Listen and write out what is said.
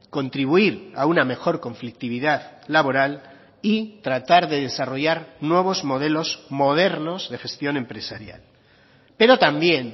contribuir a una mejor conflictividad laboral y tratar de desarrollar nuevos modelos modernos de gestión empresarial pero también